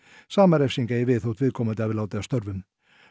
sama refsing eigi við þótt viðkomandi hafi látið af störfum